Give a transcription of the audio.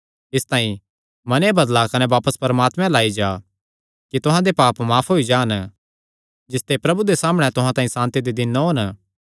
इसतांई मने बदला कने बापस परमात्मे अल्ल आई जा कि तुहां दे पाप माफ होई जान जिसते प्रभु दे सामणै तुहां तांई सांति दे दिन ओन